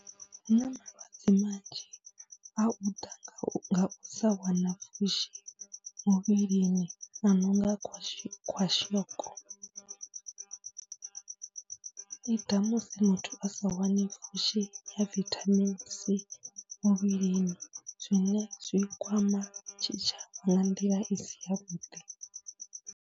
Hu na malwadze manzhi a u ḓa nga u, nga u sa wana pfhushi muvhilini, a no nga khwashi khwashiko, i ḓa musi muthu a sa wani pfhushi ya vithamini c muvhilini zwine zwi kwama tshitshavha nga nḓila i si yavhuḓi.